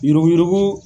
Yuruguyurugu